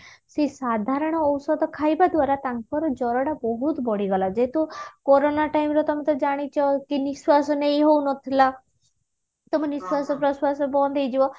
ସେ ସାଧାରଣ ଔଷଧ ଖାଇବା ଦ୍ଵାରା ତାଙ୍କର ଜର ଟା ବହୁତ ବଢି ଗଲା ଯେହେତୁ କୋରୋନା time ରେ ତମେ ତ ଜାଣିଛ କି ନିଶ୍ଵାସ ନେଇ ହଉନଥିଲା ତମ ନିଶ୍ଵାସ ପ୍ରଶ୍ଵାସ ବନ୍ଦ ହେଇଯିବ